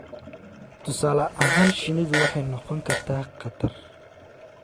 Tusaale ahaan, shinnidu waxay noqon kartaa khatar